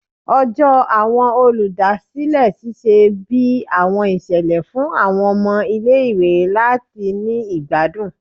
Ọjọ Awọn oludasilẹ ṣiṣẹ bi awọn iṣẹlẹ fun awọn ọmọ ile-iwe lati ni igbadun